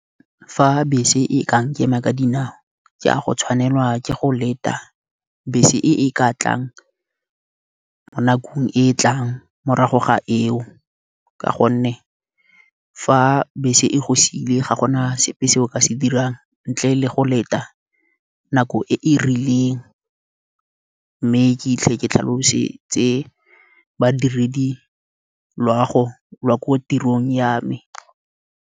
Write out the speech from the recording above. Fa bese e ka nkema ka dinao ke a go tshwanelwa ke go leta bese e ka tlang mo nakong e e tlang morago ga eo. Ka gonne fa bese e go siile ga gona sepe se o ka se dirang ntle le go leta, nako e e rileng. Mme ke hitlhe ke tlhalosetse badiredi loago la ko tirong ya me.